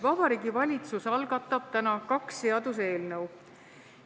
Vabariigi Valitsus algatab täna kaks seaduseelnõu.